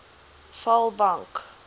vaalbank